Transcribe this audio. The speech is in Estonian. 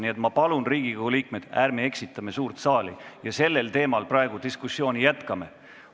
Nii et ma palun, Riigikogu liikmed, ärme eksitame suurt saali ja ärme jätkame diskussiooni sellel teemal.